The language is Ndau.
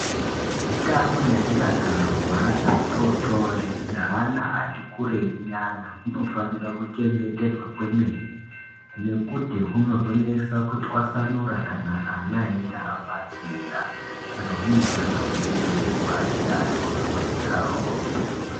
Utano nemudakaro hweana atototi neana atikurei nyana hunofanirwa kuchengetedzwa kwemene nekuti hunozonesa kutwasanura kana ana einge abva zera saka hunofanira kuchengetedzwa achiri atotori kudaroko.